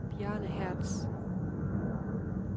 Bjarne Hertz